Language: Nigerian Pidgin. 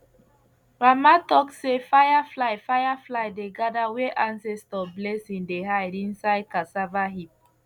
grandma talk say firefly firefly dey gather where ancestor blessing dey hide inside cassava heap